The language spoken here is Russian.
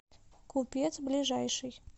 купец ближайший